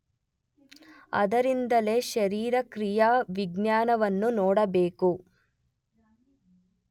ಆದ್ದರಿಂದಲೇ ಶರೀರಕ್ರಿಯಾವಿಜ್ಞಾನವನ್ನು ನೋಡಬೇಕು.